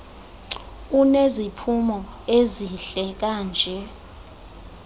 uneziphumo ezihle kanje